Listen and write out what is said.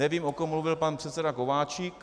Nevím, o kom mluvil pan předseda Kováčik.